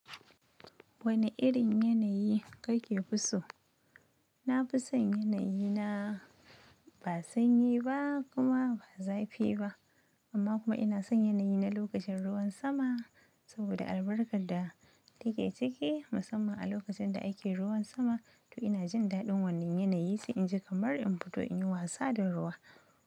Wane irin yanayi kake so? Na fi son yanayi na ba sanyi ba kuma ba zafi ba. Amma kuma ina son yanayi na lokacin ruwan sama saboda albarkar da take cike musamman a lokacin da ake ruwan sama. To ina jin daɗin wannan yanayi sai in ji kamar in fito in yi wasa da ruwa.